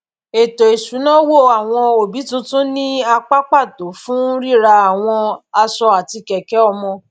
ètò isunawo àwọn òbí tuntun ní apá pàtó fún rírà àwọn aṣọ àti kẹkẹ ọmọ